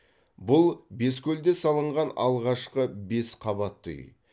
бұл бескөлде салынған алғашқы бес қабатты үй